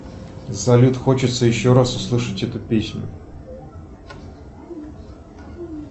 салют хочется еще раз услышать эту песню